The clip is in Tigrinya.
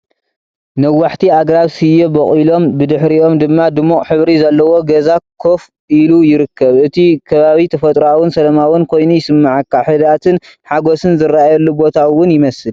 ነዋሕቲ ኣግራብ ስየ በቑሎም፣ ብድሕሪኦም ድማ ድሙቕ ሕብሪ ዘለዎ ገዛ ኮፍ ኢሉ ይርከብ። እቲ ከባቢ ተፈጥሮኣውን ሰላማውን ኮይኑ ይስምዓካ። ህድኣትን ሓጐስን ዝረኣየሉ ቦታ ውን ይመስል።